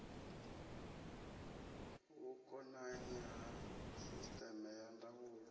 vhukonanyi ha sisteme ya ndaulo